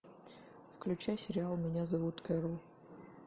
включай сериал меня зовут кэрол